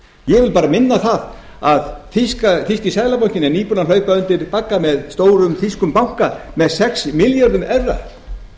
ég vil bara minna á að þýski seðlabankinn er nýbúinn að hlaupa undir bagga með stórum þýskum banka með sex milljröðum evra